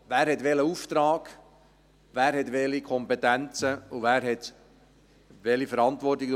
Wer hat welchen Auftrag, wer hat welche Kompetenzen und wer hat welche Verantwortung?